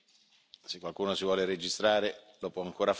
Se qualcuno si vuole registrare lo può ancora fare.